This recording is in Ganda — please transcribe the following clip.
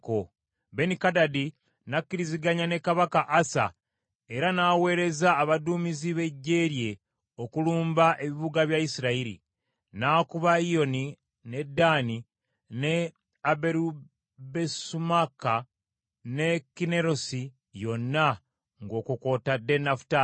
Benikadadi n’akkiriziganya ne kabaka Asa era n’aweereza abaduumizi b’eggye lye okulumba ebibuga bya Isirayiri. N’akuba Iyoni, ne Ddaani, ne Aberubesumaaka ne Kinnerosi yonna ng’okwo kw’otadde Nafutaali.